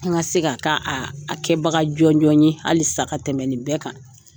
An ka se ka kɛ a kɛbaga jɔnjɔn ye halisa ka tɛmɛ nin bɛɛ kan.